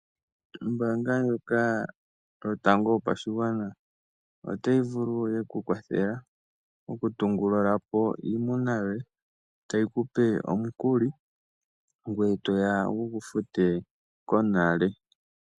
Ombaanga ndjoka yotango yopashigwana otayi vulu oku ku kwathela okutungulula po iimuna yoye, tayi ku pe omukuli ngoye to ya wu gu fute konale.